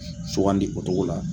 Sugan di o togo la.